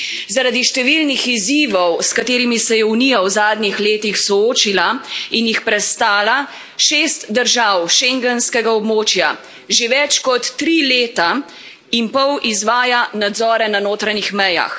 Zaradi številnih izzivov, s katerimi se je Unija v zadnjih letih soočila in jih prestala, šest držav schengenskega območja že več kot tri leta in pol izvaja nadzore na notranjih mejah.